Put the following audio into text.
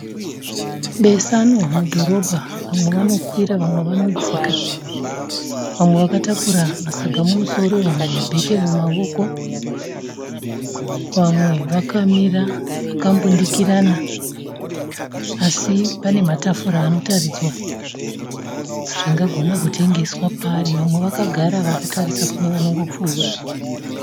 Besanwa mudhorobha. Vamwe vanokwira vamwe vanodzika. Vamwe vakatakura masaga mumusoro vamwe mabheke mumavoko. Vamwe vakamira vakambundikirana. Asi pane matafura anotaridzwa zvingagona kutengeswa paari. Vamwe vakagara vakatarisa kune vanongopfuura.